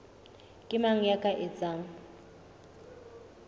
ke mang ya ka etsang